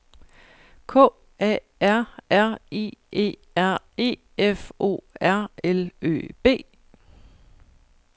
K A R R I E R E F O R L Ø B